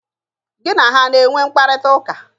Gị na ha a na-enwe mkparịtaụka?